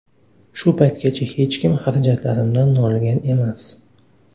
Shu paytgacha hech kim xarajatlarimdan noligan emas.